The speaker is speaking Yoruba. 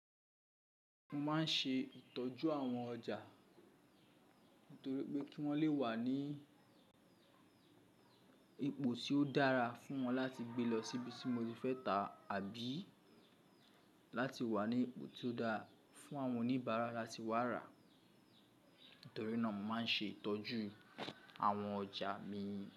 Mo máa ń ṣe ìtọ́jú àwọn ọjà nítorí pé kí wọ́n lè wà ní ipò tí ó dára fún wọn láti gbe lọ síbi tí mo ti fẹ́ tà àbí láti wà ní ipò tí ó dára fún àwọn oníbàárà láti wá rà. Nítorí náà mo máa ń ṣe ìtọ́jú àwọn ọjà mi.